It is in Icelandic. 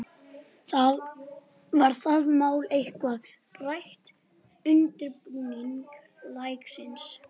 Var það mál eitthvað rætt í undirbúningi leiksins?